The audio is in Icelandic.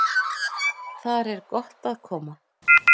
Þar er gott að koma.